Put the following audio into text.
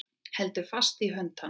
Heldur fast í hönd hans.